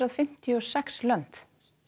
fimmtíu og sex lönd